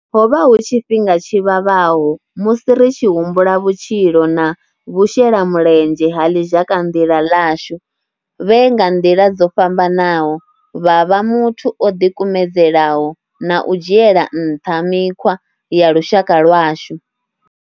Ho vha hu tshifhinga tshi vhavhaho musi ri tshi humbula vhutshilo na vhushelamulenzhe ha ḽizhakanḓila ḽashu vhe nga nḓila dzo fhambanaho vha vha muthu o ḓikumedzelaho na u dzhiela nṱha mikhwa ya lushaka lwashu.